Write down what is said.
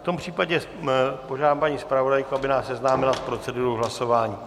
V tom případě požádám paní zpravodajku, aby nás seznámila s procedurou hlasování.